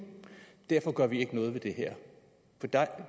derfor gør vi ikke noget ved det her det der